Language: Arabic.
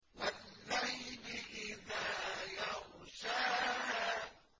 وَاللَّيْلِ إِذَا يَغْشَاهَا